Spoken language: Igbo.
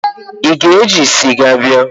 Ị ga-eji sịga bịa?